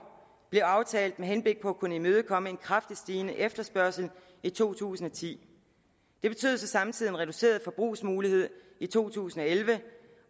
blev aftalt med henblik på at kunne imødekomme en kraftigt stigende efterspørgsel i to tusind og ti det betød så samtidig en reduceret forbrugsmulighed i to tusind og elleve